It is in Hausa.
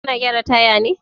Kana gyara taya ne?